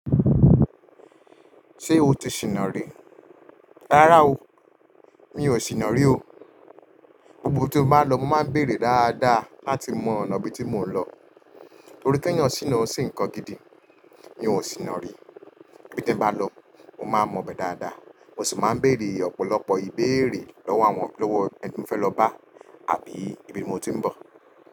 Ṣé o ti sìnà rí? Rárá o, mi ò sìnà rí o. Gbogbo tí mo bá lọ, mo máa ń béèrè dáadáa láti mọ ọ̀nà ibí tí mò ń lọ. Torí tí èèyàn sìnà ò ṣe ǹkan gidi. Mi ò sìnà rí. Ibi tí bá lọ, mo máa mọ ibẹ̀ dáadáa. Mo sì máa ń béèrè ọ̀pọ̀lọpọ̀ ìbéèrè lọ́wọ́ àwọn lowo ẹni tí mo fẹ́ lọ bá àbí ibi tí mo ti ń bọ̀.